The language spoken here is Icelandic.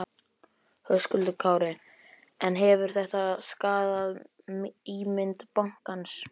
Höskuldur Kári: En hefur þetta skaðað ímynd bankans?